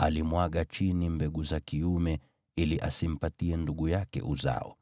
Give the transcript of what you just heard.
alimwaga chini mbegu za kiume ili asimpatie ndugu yake uzao.